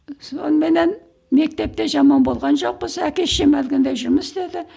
соныменен мектепте жаман болған жоқпыз әке шешем әлгіндей жұмыс істеді